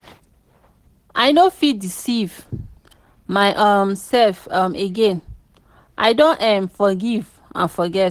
i no fit deceive my um self um again i don um forgive and forget.